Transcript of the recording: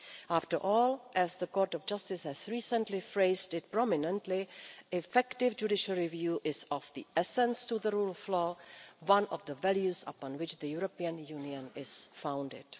After all, as the Court of Justice has recently phrased it prominently, effective judicial review is of the essence to the rule of law, one of the values upon which the European Union is founded.